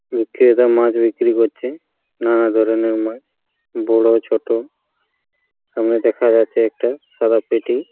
বিক্রেতা মাছ বিক্রি করছে | নানা ধরনের মাছ বড় ছোট। সামনে দেখা যাচ্ছে একটা সাদা পেটি ।